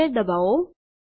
Enter દબાવો